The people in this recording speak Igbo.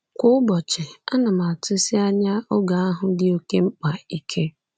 Kwa ụbọchị, ana m atụsi anya oge ahụ dị oké mkpa ike.